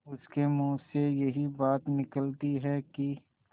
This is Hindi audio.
उसके मुँह से यही बात निकलती है कि